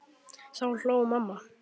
Þá hló mamma.